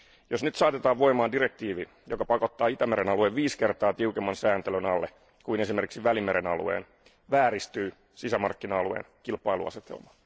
Jos nyt saatetaan voimaan direktiivi, joka pakottaa Itämeren alueen viisi kertaa tiukemman sääntelyn alle kuin esimerkiksi Välimeren alueen, vääristyy sisämarkkina alueen kilpailuasetelma.